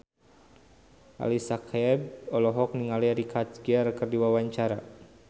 Ali Syakieb olohok ningali Richard Gere keur diwawancara